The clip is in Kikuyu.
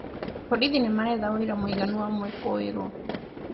Borithi nĩ maretha ũira mũiganu wa mũĩkũĩrwo